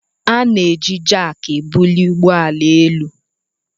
A na-eji Jack ebuli ụgbọ ala elu